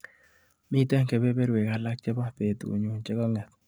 Miite kebeberwek alak chebo betunyu chekang'et.